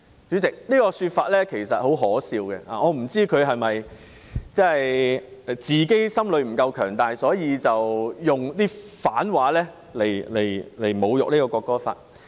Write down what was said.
主席，他的說法很可笑，我不知道他是否心理不夠強大，所以用反話來侮辱《條例草案》。